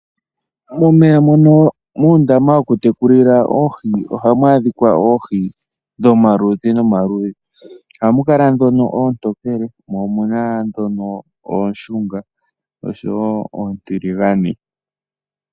Momeya mono muundama woku tekulila oohi ohamu adhika oohi dhomaludhi nomaludhi. Ohamu kala ndhono oontokele mo omuna ndhono oonshunga osho woo oontiligane.